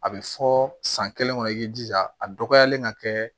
A bɛ fɔ san kelen kɔnɔ i jija a dɔgɔyalen ka kɛ